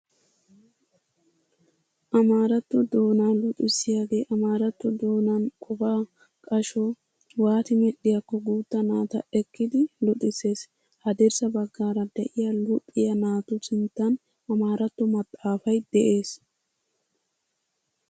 Amaaratto doonaa luxissiyagee amaaratto doonaan qofa qasho waati medhdhiyakko guutta naata eqqidi luxisses. Haddirssa baggaara de'iya luxiya naatu sinttan amaaratto maxaafay de'es.